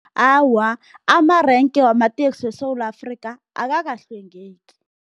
Awa, amarenke wamateksi weSewula Afrika akakahlwengeki.